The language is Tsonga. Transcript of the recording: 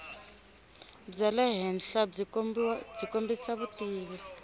bya le henhlabyi kombisa vutivi